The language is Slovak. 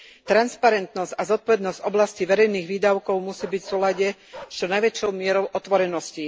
Transparentnosť a zodpovednosť v oblasti verejných výdavkov musí byť v súlade s čo najväčšou mierou otvorenosti